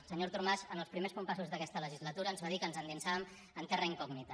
el senyor artur mas en els primers compassos d’aquesta legislatura ens va dir que ens endinsàvem en terra incògnita